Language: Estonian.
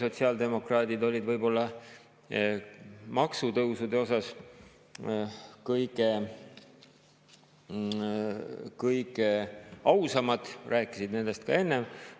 Sotsiaaldemokraadid olid maksutõusude osas võib-olla kõige ausamad – nad rääkisid nendest ka enne.